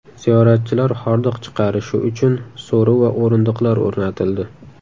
Ziyoratchilar hordiq chiqarishi uchun so‘ri va o‘rindiqlar o‘rnatildi.